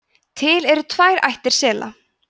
til eru tvær ættir sela